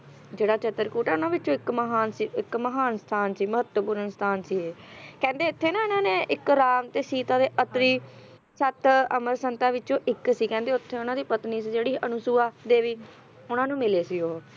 ਜਿਹੜਾ ਚਿਤਰਕੂਟ ਉਹਨਾਂ ਵਿੱਚੋਂ ਇੱਕ ਮਹਾਨ ਸੀ ਇੱਕ ਮਹਾਨ ਸਥਾਨ ਸੀ ਮਹੱਤਵਪੂਰਨ ਸਥਾਨ ਸੀ ਇਹ ਕਹਿੰਦੇ ਇੱਥੇ ਨਾ ਇਹਨਾਂ ਨੇ ਰਾਮ ਤੇ ਸੀਤਾ ਤੇ ਅਤਰੀ ਸੱਤ ਅਮਰ ਸੰਤਾਂ ਵਿੱਚੋਂ ਇੱਕ ਸੀ ਕਹਿੰਦੇ ਉੱਥੇ ਉਹਨਾਂ ਦੀ ਜਿਹੜੀ ਪਤਨੀ ਸੀ ਅਨੁਸੁਆ ਦੇਵੀਉਹਨਾਂ ਨੂੰ ਮਿਲੇ ਸੀ ਉਹ